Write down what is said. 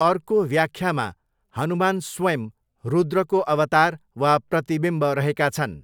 अर्को व्याख्यामा हनुमान स्वयं रुद्रको अवतार वा प्रतिविम्ब रहेका छन्।